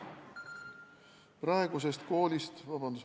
Vabandust!